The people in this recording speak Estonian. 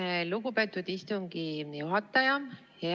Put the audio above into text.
Aitäh, lugupeetud istungi juhataja!